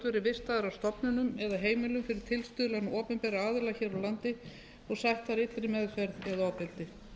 vistaðir á stofnunum eða heimilum fyrir tilstuðlan opinberra aðila hér á landi og sætt þar illri meðferð eða ofbeldi